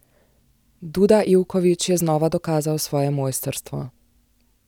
Duda Ivković je znova dokazal svoje mojstrstvo.